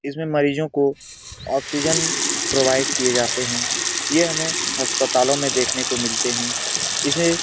इसमें मरीजों को ऑक्स्जन प्रोवाइड किये जाते हैं ये हमें अस्पतालों में देखने को मिलते हैं इसे --